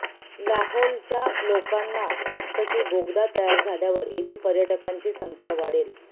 लाहौलच्या लोकांना वाटतं की बोगदा तयार झाल्यावर इथे पर्यटकांची संख्या वाढेल